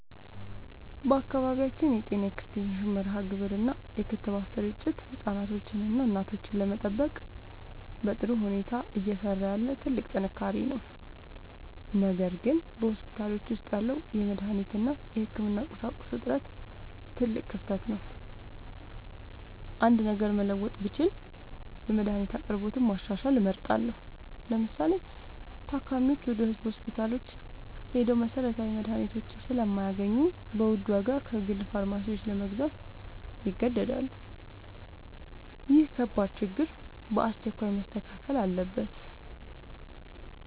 በአካባቢያችን የጤና ኤክስቴንሽን መርሃግብር እና የክትባት ስርጭት ህፃናትንና እናቶችን ለመጠበቅ በጥሩ ሁኔታ እየሰራ ያለ ትልቅ ጥንካሬ ነው። ነገር ግን በሆስፒታሎች ውስጥ ያለው የመድኃኒት እና የህክምና ቁሳቁስ እጥረት ትልቅ ክፍተት ነው። አንድ ነገር መለወጥ ብችል የመድኃኒት አቅርቦትን ማሻሻል እመርጣለሁ። ለምሳሌ፤ ታካሚዎች ወደ ህዝብ ሆስፒታሎች ሄደው መሰረታዊ መድኃኒቶችን ስለማያገኙ በውድ ዋጋ ከግል ፋርማሲዎች ለመግዛት ይገደዳሉ። ይህ ከባድ ችግር በአስቸኳይ መስተካከል አለበት።